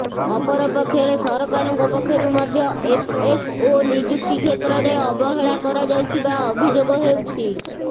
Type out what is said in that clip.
ଅପରପକ୍ଷରେ ସରକାରଙ୍କ ପକ୍ଷରୁ ମଧ୍ୟ ଏଫ୍ଏସ୍ଓ ନିଯୁକ୍ତି କ୍ଷେତ୍ରରେ ଅବହେଳା କରାଯାଉଥିବା ଅଭିଯୋଗ ହେଉଛି